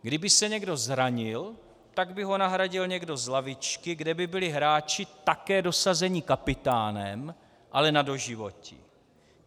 Kdyby se někdo zranil, tak by ho nahradil někdo z lavičky, kde by byli hráči také dosazení kapitánem, ale na doživotí.